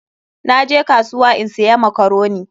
Na je kasuwa in siya makaroni.